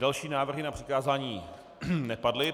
Další návrhy na přikázání nepadly.